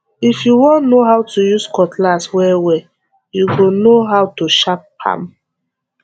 if you won no how to use cutlass wellwell you go no how to sharp am